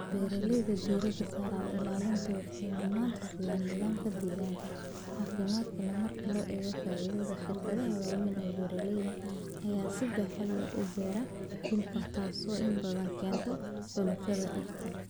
Beeralayda diiradda saaraya ilaalinta waxay mudnaanta siiyaan nidaamka deegaanka caafimaadka leh marka loo eego faa'iidada. Shirkadaha waaweyn ee beeralayda ayaa si baaxad leh u beera dhul, taasoo inta badan keenta xaalufinta dhirta.